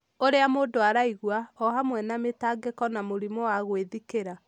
ũrĩa mũndũ araigua, o hamwe na mĩtangĩko na mũrimũ wa gwĩthikĩra.